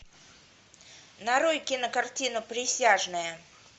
нарой кинокартину присяжные